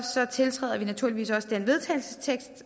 tiltræder vi naturligvis også den vedtagelsestekst